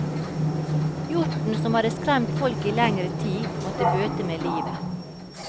Hjorten, som hadde skremt folk i lengre tid, måtte bøte med livet.